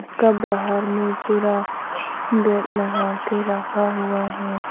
इसका बाहर में पूरा ग्रिल लगा के रखा हुआ है।